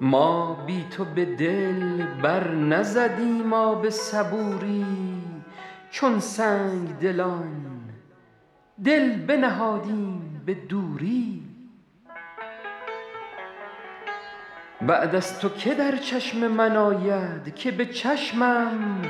ما بی تو به دل بر نزدیم آب صبوری چون سنگدلان دل بنهادیم به دوری بعد از تو که در چشم من آید که به چشمم